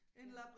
Ja